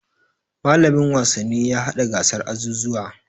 Mallamin wasanni ya haɗa gasar azuzuwa.